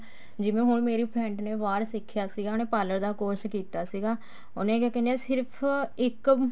ਜਿਵੇਂ ਹੁਣ ਮੇਰੀ friend ਨੇ ਬਾਹਰ ਸਿੱਖਿਆ ਸੀਗਾ ਉਹਨੇ parlor ਦਾ course ਕੀਤਾ ਸੀਗਾ ਉਹਨੇ ਕਿਆ ਕਹਿੰਦੇ ਹਾਂ ਸਿਰਫ ਇੱਕ